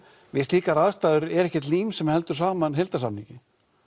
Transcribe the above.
við slíkar aðstæður er ekkert lím sem heldur saman heildarsamningi